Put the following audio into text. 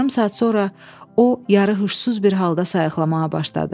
Yarım saat sonra o yarı xışsız bir halda sayıqlamağa başladı.